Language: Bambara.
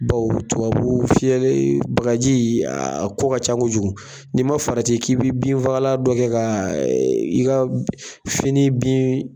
Bawo tubabu fiyɛlen, bagaji a a ko ka ca kojugu, n'i ma farati k'i bɛ binfagalan dɔ kɛ ka i ka fini bin